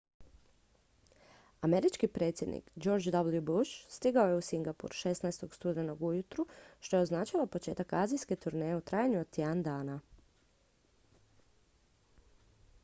američki predsjednik george w bush stigao je u singapur 16. studenoga ujutro što je označilo početak azijske turneje u trajanju od tjedan dana